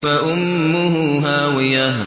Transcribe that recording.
فَأُمُّهُ هَاوِيَةٌ